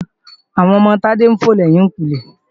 Àwọn ọmọ Tádé ń fò lẹ́yìnkùnlé